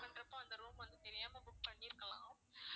பண்றப்போ அந்த room வந்து தெரியாம book பண்ணியிருக்கலாம்